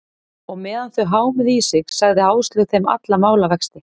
Og meðan þau hámuðu í sig, sagði Áslaug þeim alla málavexti.